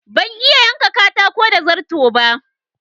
Ban iya yanka katako da darto ba.